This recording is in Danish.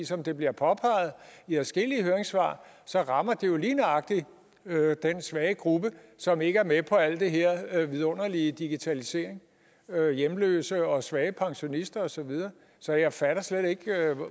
som det bliver påpeget i adskillige høringssvar rammer det jo lige nøjagtig den svage gruppe som ikke er med på al den her vidunderlige digitalisering hjemløse og svage pensionister og så videre så jeg fatter slet ikke